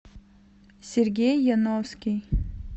сергей яновский